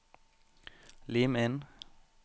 Lim inn